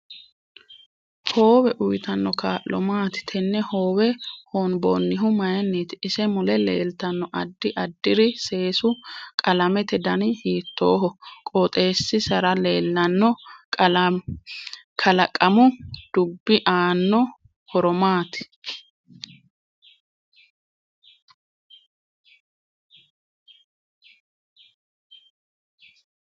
Hoowe uyiitanno kaa'lo maati tenne hoowe hoonbonihu mayiiniti ise mule leeltanno addi addiri seesu qalamete dani hiitooho qoxeesiaera leelanno qalaqamu dubbi aano horo maati